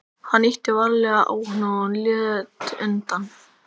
Hann ýtti varlega á hana og hún lét undan.